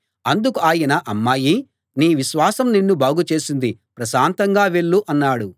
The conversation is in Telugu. అందుకు ఆయన అమ్మాయీ నీ విశ్వాసం నిన్ను బాగు చేసింది ప్రశాంతంగా వెళ్ళు అన్నాడు